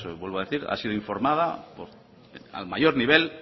vuelvo a decir ha sido informada al mayor nivel